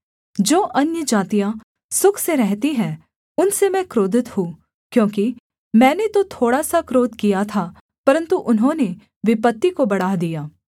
जो अन्यजातियाँ सुख से रहती हैं उनसे मैं क्रोधित हूँ क्योंकि मैंने तो थोड़ा सा क्रोध किया था परन्तु उन्होंने विपत्ति को बढ़ा दिया